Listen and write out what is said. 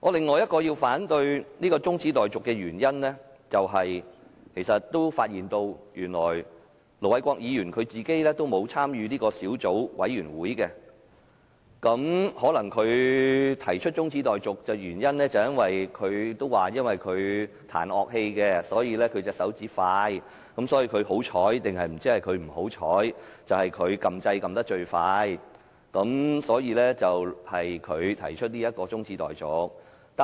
我反對這項中止待續議案的第四個原因，是我發現原來盧偉國議員也沒有加入審議修訂規則的小組委員會，他提出中止待續可能是因為他彈奏樂器，所以手指動得快，不知是他幸運或不幸，最快按了"發言按鈕"，所以由他來動議中止待續議案。